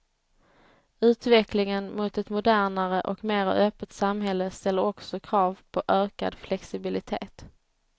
Utvecklingen mot ett modernare och mera öppet samhälle ställer också krav på ökad flexibilitet.